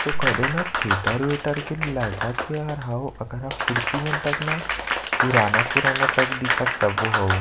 तो कदे न थिएटर -वेटर के लगत हे हर हउ कुर्सी मन तक ना पुराना -पुराना दिखत तक सबो हउ --